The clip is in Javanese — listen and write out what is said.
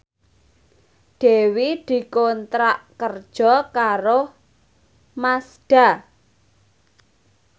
Dewi dikontrak kerja karo Mazda